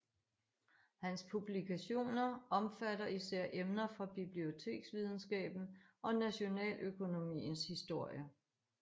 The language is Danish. Hans publikationer omfatter især emner fra biblioteksvidenskaben og nationaløkonomiens historie